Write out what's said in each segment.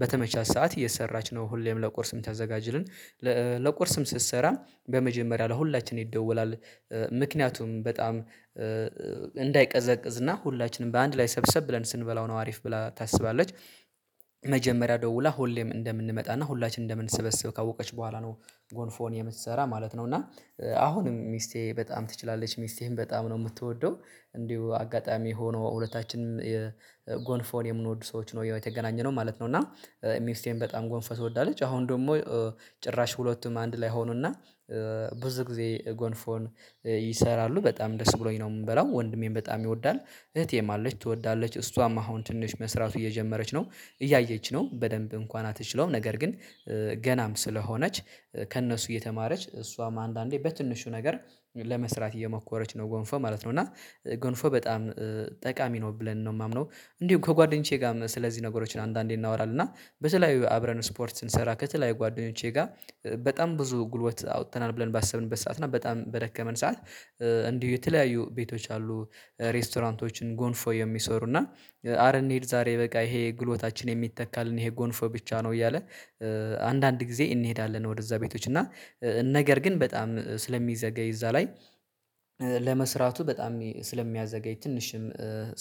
በተመቻት ሰዓት እየሰራች ነው ሁሌም ለቁርስ የምታዘጋጅልን ለቁርስም ስትሰራ በመጀመሪያ ለሁላችንም ይደወላል ምክንያቱም በጣም እንዳይቀዘቅዝ እና ሁላችንም በአንድ ላይ ሰብሰብ ብለን ስንበላው ነው አሪፍ ብላ ታስባለች። መጀመሪያ ደውላ ሁሌም እንደምንመጣና ሁላችንም እንደምንሰበስብ ካወቀች በኋላ ነው ጎንፎን የምትሰራ ማለት ነው። እና አሁንም ሚስቴ በጣም ትችላለች ሚስቴም በጣም ነው የምትወደው እንዲሁ አጋጣሚ ሆኖ ሁለታችንም ጎንፎን የምንወድ ሰዎች ነው ያው የተገናኘነው ማለት ነው። እና ሚስቴም በጣም ጎንፎ ትወዳለች አሁን ደግሞ ጭራሽ ሁለቱም አንድ ላይ ሆኑና ብዙ ጊዜ ጎንፎን ይሰራሉ በጣም ደስ ብሎኝ ነው የምንበላው ወንድሜም በጣም ይወዳል። እህቴም አለች ትወዳለች እሷም አሁን ትንሽ መስራቱ እየጀመረች ነው እያየች ነው በደንብ እንኳን አትችለውም ነገር ግን ገናም ስለሆነች ከእነሱ እየተማረች እሷም አንዳንዴ በትንሹ ነገር ለመስራት እየሞከረች ነው ጎንፎ ማለት ነው። እና ጎንፎ በጣም ጠቃሚ ነው ብለን ነው የማምነው እንዲሁ ከጓደኞቼ ጋርም ስለዚህ ነገሮችን አንዳንዴ እናወራለን እና በተለያዩ አብረን ስፖርት ስንሰራ ከተለያዩ ጓደኞቼ ጋር በጣም ብዙ ጉልበት አውጥተናል። ብለን ባሰብንበት ሰዓት እና በጣም በደከመን ሰዓት እንዲሁ የተለያዩ ቤቶች አሉ ሬስቶራንቶችን ጎንፎ የሚሰሩ እና ኧረ እንሂድ ዛሬ በቃ ይሄ ጉልበታችን የሚተካልን ይሄ ጎንፎ ብቻ ነው። እያለ አንዳንድ ጊዜ እንሄዳለን ወደዛ ቤቶች እና ነገር ግን በጣም ስለሚዘገይ እዛ ላይ ለመስራቱ በጣም ስለሚያዘገይ ትንሽም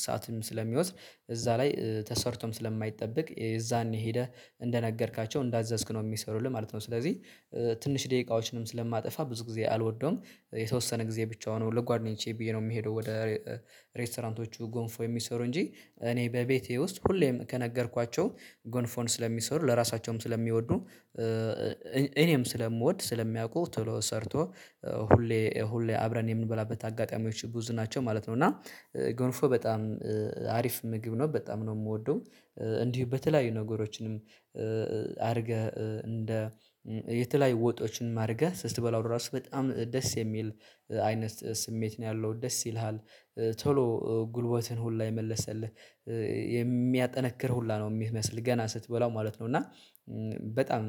ሰዓትም ስለሚወስድ እዛ ላይ ተሰርቶም ስለማይጠበቅ የዛኔ ሄደህ እንደነገርካቸው እንዳዘዝክ ነው የሚሰሩልህ ማለት ነው። ስለዚህ ትንሽ ደቂቃዎችንም ስለማጠፋ ብዙ ጊዜ አልወደውም የተወሰነ ጊዜ ብቻውን ለጓደኞቼ ብዬ ነው የምሄደው። ወደ ሬስቶራንቶቹ ጎንፎ የሚሰሩ እንጂ እኔ በቤቴ ውስጥ ሁሌም ከነገርኳቸው ጎንፎን ስለሚሰሩ ለራሳቸውም ስለሚወዱ እኔም ስለምወድ ስለሚያውቁ ቶሎ ሰርቶ ሁሌ ሁሌ አብረን የምንበላበት አጋጣሚዎች ብዙ ናቸው ማለት ነው። እና ጎንፎ በጣም አሪፍ ምግብ ነው በጣም ነው የምወደው እንዲሁ በተለያዩ ነገሮችንም አድርገህ እንደ የተለያዩ ወጦችንም አድርገህ ስትበላው ራሱ በጣም ደስ የሚል አይነት ስሜት ነው ያለው ደስ ይልሃል ቶሎ ጉልበትን ሁላ የመለሰልህ የሚያጠነክር ሁላ ነው የሚመስል ገና ስትበላው ማለት ነው። እና በጣም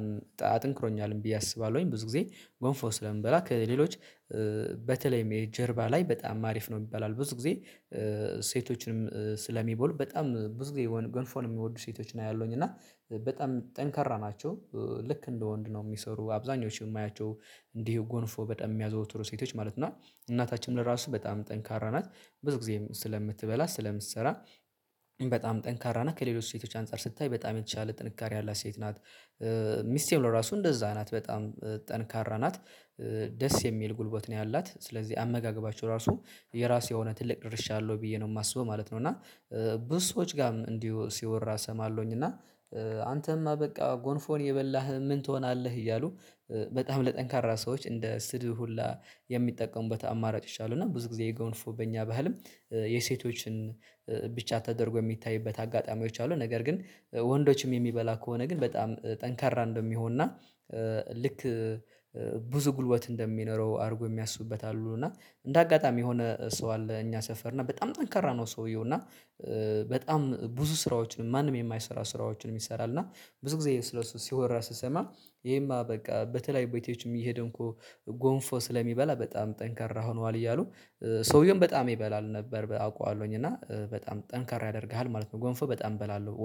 አጠንክሮኛልም ብዬ አስባለሁኝ ብዙ ጊዜ ጎንፎ ስለምበላ ከሌሎች በተለይም ይሄ ጀርባ ላይ በጣም አሪፍ ነው ይባላል ብዙ ጊዜ ሴቶችንም ስለሚበሉ በጣም ብዙ ጊዜ ዮነ ጎንፎን የሚወዱ ሴቶችን አያለውኝ እና በጣም ጠንካራ ናቸው። ልክ እንደ ወንድ ነው የሚሰሩ አብዛኞቹ የማያቸው እንዲህ ጎንፎ በጣም የሚያዘወትሩ ሴቶች ማለት ነው እና እናታችንም ለራሱ በጣም ጠንካራ ናት ብዙ ጊዜም ስለምትበላ ስለምትሰራ በጣም ጠንካራ እና ከሌሎች ሴቶች አንፃር ስታይ በጣም የተቻለ ጥንካሬ ያላት ሴት ናት። ሚስቴም ለራሱ እንደዛ ናት በጣም ጠንካራ ናት ደስ የሚል ጉልበት ነው ያላት ስለዚህ አመጋገባችሁ ራሱ የራሱ የሆነ ትልቅ ድርሻ አለው ብዬ ነው የማስበው ማለት ነው። እና ብዙ ሰዎች ጋርም እንዲሁ ሲወራ እሰማለሁኝ እና አንተማ በቃ ጎንፎን እየበላህ ምን ትሆናለህ እያሉ በጣም ለጠንካራ ሰዎች እንደ ስድብ ሁላ የሚጠቀሙበት አማራጮች አሉ። እና ብዙ ጊዜ ጎንፎ በእኛ ባህልም የሴቶችን ብቻ ተደርጎ የሚታይበት አጋጣሚዎች አሉ። ነገር ግን ወንዶችም የሚበላ ከሆነ ግን በጣም ጠንካራ እንደሚሆንና ልክ ብዙ ጉልበት እንደሚኖረው አድርጎ የሚያስቡበት አሉ። እና እንደ አጋጣሚ የሆነ ሰው አለ እኛ ሰፈር እና በጣም ጠንካራ ነው ሰውየው እና በጣም ብዙ ስራዎችን ማንም የማይሰራ ስራዎችን ይሰራል። እና ብዙ ጊዜ ስለ እሱ ሲወራ ስሰማ ይሄማ በቃ በተለያዩ ቤቶችም እየሄደ እኮ ጎንፎ ስለሚበላ በጣም ጠንካራ ሆኗል እያሉ ሰውየውም በጣም ይበላል ነበር አውቃለሁኝ እና በጣም ጠንካራ ያደርግሃል ማለት ነው። ጎንፎ በጣም እበላለሁ ወድ